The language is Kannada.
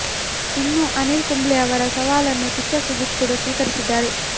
ಇನ್ನು ಅನಿಲ್ ಕುಂಬ್ಳೆ ಅವರ ಸವಾಲನ್ನು ಕಿಚ್ಚ ಸುದೀಪ್ ಕೂಡ ಸ್ವೀಕರಿಸಿದ್ದಾರೆ